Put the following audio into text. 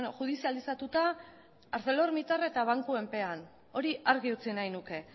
judizializatuta arcelormittal eta bankuen pean hori argi utzi nahi nuke